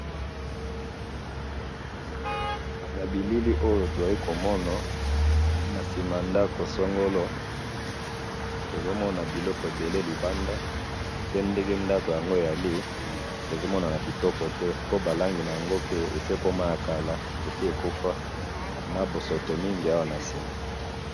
na bilili oyo tuzali komona, na sima ya ndaku songolo, tozomona biloko ebele libanda, pe nde ndaku yango ya vieux, ezomona ya kitoko te, pe barangi yango pe esi ekomi ya kala, esi yekufa na bosoto mingi awa na sima